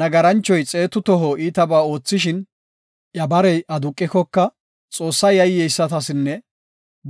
Nagaranchoy xeetu toho iitabaa oothishin iya barey aduqikoka, Xoosse yayyeysatasinne